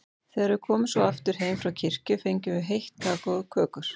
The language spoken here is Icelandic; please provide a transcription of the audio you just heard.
Þegar við komum svo aftur heim frá kirkju fengum við heitt kakó og kökur.